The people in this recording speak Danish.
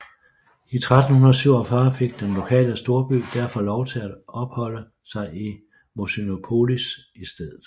I 1347 fik den lokale storby derfor lov til at opholde sig i Mosynopolis i stedet